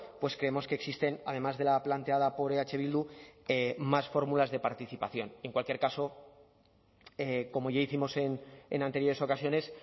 pues creemos que existen además de la planteada por eh bildu más fórmulas de participación en cualquier caso como ya hicimos en anteriores ocasiones